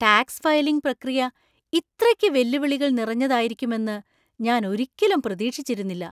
Tax filing പ്രക്രിയ ഇത്രയ്ക്ക് വെല്ലുവിളികൾ നിറഞ്ഞതായിരിക്കുമെന്ന് ഞാൻ ഒരിക്കലും പ്രതീക്ഷിച്ചിരുന്നില്ല.